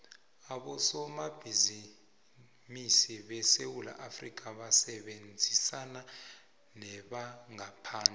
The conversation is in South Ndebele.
abosomabhizimisi besewula afrikha basebenzisana nebamgaphandle